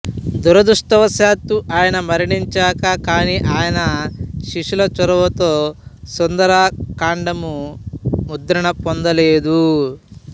దురదృష్టవశాత్తూ ఆయన మరణించాకా కానీ ఆయన శిష్యుల చొరవతో సుందరకాండము ముద్రణ పొందలేదు